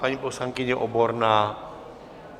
Paní poslankyně Oborná?